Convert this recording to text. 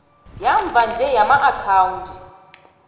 yamva nje yamaakhawundi